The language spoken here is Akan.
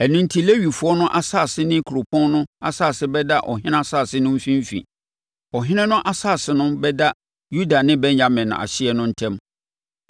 Ɛno enti Lewifoɔ no asase ne kuropɔn no asase bɛda ɔhene asase no mfimfini. Ɔhene no asase no bɛda Yuda ne Benyamin ahyeɛ no ntam.